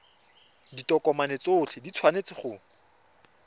ditokomane tsotlhe di tshwanetse go